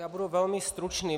Já budu velmi stručný.